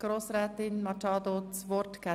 Grossrätin Machado hat das Wort.